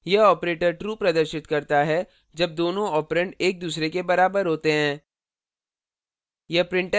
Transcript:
यह operator true प्रदर्शित करता है जब दोनों ऑपरेंड एक दूसरे के बराबर होते हैं